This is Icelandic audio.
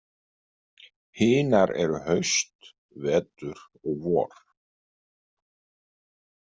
Hinar eru haust, vetur og vor.